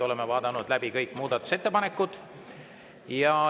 Oleme vaadanud läbi kõik muudatusettepanekud.